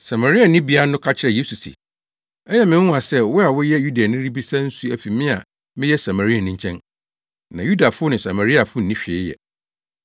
Samarianibea no ka kyerɛɛ Yesu se, “Ɛyɛ me nwonwa sɛ wo a woyɛ Yudani rebisa nsu afi me a meyɛ Samariani nkyɛn.” Na Yudafo ne Samariafo nni hwee yɛ.